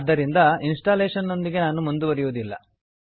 ಆದ್ದರಿಂದ ಇನ್ಸ್ಟಾಲೇಶನ್ನೊಂದಿಗೆ ನಾನು ಮುಂದುವರಿಯುವುದಿಲ್ಲ